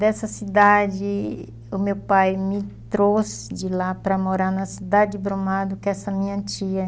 Dessa cidade, o meu pai me trouxe de lá para morar na cidade de Brumado, com essa minha tia.